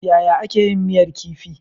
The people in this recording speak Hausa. Yaya ake yin miyar kifi.